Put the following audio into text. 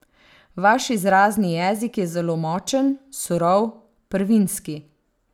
Vaš izrazni jezik je zelo močen, surov, prvinski.